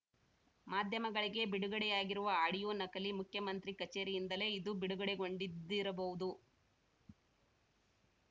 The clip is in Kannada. ಮಾಧ್ಯಮಗಳಿಗೆ ಬಿಡುಗಡೆಯಾಗಿರುವ ಆಡಿಯೋ ನಕಲಿ ಮುಖ್ಯಮಂತ್ರಿ ಕಚೇರಿಯಿಂದಲೇ ಇದು ಬಿಡುಗಡೆಗೊಂಡಿದ್ದಿರಬಹುದು